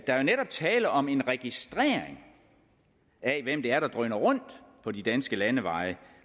er jo netop tale om en registrering af hvem det er der drøner rundt på de danske landeveje